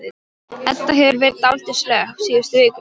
Edda hefur verið dálítið slöpp síðustu vikurnar.